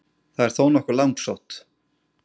það er þó nokkuð langsótt